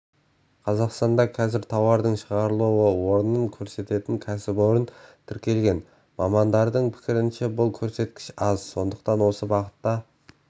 қазақстанда қазір тауардың шығарылу орнын көрсететін кәсіпорын тіркелген мамандардың пікірінше бұл көрсеткіш аз сондықтан осы бағытта